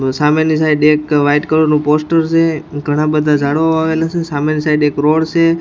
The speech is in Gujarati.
સામેની સાઇડ એક વાઈટ કલર નું પોસ્ટર સે ઘણા-બધા જાળવા વાવેલા સે સામેની સાઇડ એક રોડ સે.